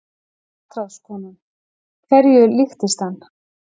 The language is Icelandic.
MATRÁÐSKONA: Hverju líktist hann?